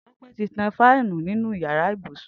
Tope ti tàn fànú ninú iyàrá ibúsún